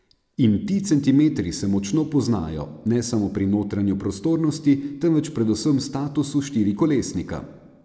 In ti centimetri se močno poznajo, ne samo pri notranji prostornosti, temveč predvsem statusu štirikolesnika.